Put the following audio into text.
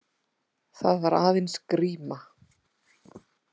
Það var aðeins gríma.